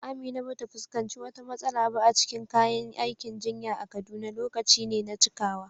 Amina ba ta fuskanci wata matsala ba a cikin kayan aikin jinya a Kaduna; lokaci ne na cikawa.